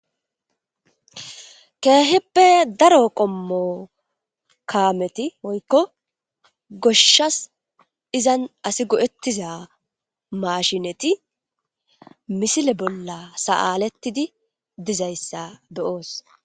Keeheppe daro qommo kaameti oykko goshshas izan asi go7ettiza mashineti misile bolla sa7alettidi dizayssa beyoos